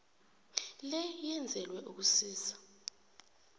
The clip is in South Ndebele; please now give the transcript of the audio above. le yenzelelwe ukusiza